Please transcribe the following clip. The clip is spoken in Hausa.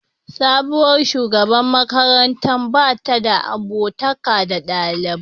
Sabuwar shugaban makarantar ba ta abokantaka da dalibi